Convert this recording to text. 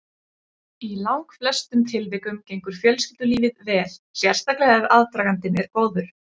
Í langflestum tilvikum gengur fjölskyldulífið vel, sérstaklega ef aðdragandinn er góður.